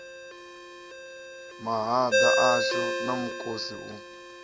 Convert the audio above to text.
mahaḓa ashu na mukosi u